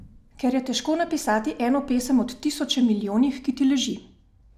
Ker je težko napisati eno pesem od tisoče milijonih, ki ti leži.